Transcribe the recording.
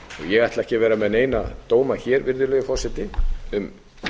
ég ætla ekki að vera með neina dóma hér virðulegi forseti um